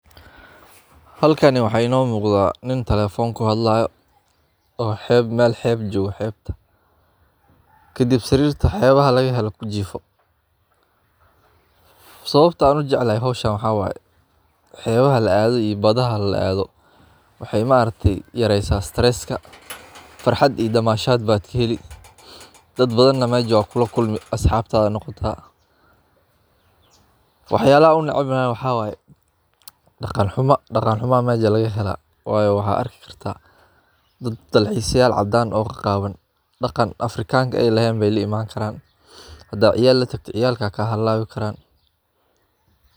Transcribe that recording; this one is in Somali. Halkani waxaa inoo muqda nin taleefon kuhadlaya oo mel xeeb joogo. Kadib sariirta xeebaha lagahelo kujiifo sawabta aan ujeclahy howshan waxaa waye xeebaha laadho iyo badhaha laadho waxey maaragtey yareesa stress a, farxad iyo damashaad baad kaheli dad badhan neh mej waa kulakulmi asxaabta noqota. Wax yaalaha aan unecbahy waxaa waye daqan xumo aya meja lagahelaa wayo waxaa arki akarta dad dalxisa yaal cadaan oo qaqaawan daqan afrikanka eey laxeyn ayee laimaan karaan. ciyaalka ayaa kahalawi karaan.